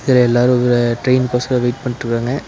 இதுல எல்லாரு ஒரு ட்ரெய்னுக்கோசரோ வெய்ட் பண்ணிட்ருக்காங்க.